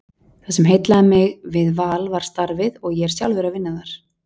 Það sem heillaði mig við Val var starfið og ég er sjálfur að vinna þar.